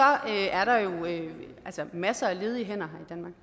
er der jo masser af ledige hænder her